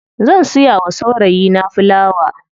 Zan siya wa saurayi na filawa.